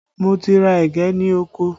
Mo ti ra ẹ̀gẹ́ ní oko